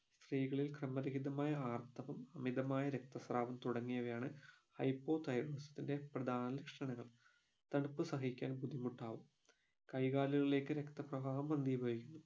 സ്ത്രീകളിൽ ക്രമ രഹിതമായ ആർത്തവം അമിതമായ രക്തസ്രാവം തുടങ്ങിയവയാണ് hypothyroidsm ത്തിൻറെ പ്രധാന ലക്ഷണങ്ങൾ തണുപ്പ് സഹിക്കാൻ ബുദ്ധിമുട്ടാവും കൈകാലുകളിലേക്ക് രക്ത പ്രാവാഹം മന്ദിഭവിക്കുന്നു